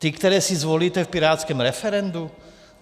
Ti, které si zvolíte v pirátském referendu?